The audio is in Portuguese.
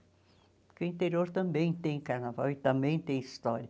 Porque o interior também tem carnaval e também tem história.